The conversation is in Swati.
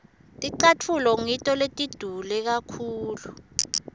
ticatfulo ngito letidule kakhulu